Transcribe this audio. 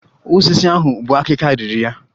Osisi ahụ bu akika riri ya